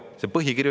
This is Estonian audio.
Seda ütleb põhikiri.